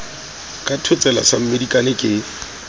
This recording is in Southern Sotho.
ka thotsela sa mmedikane ke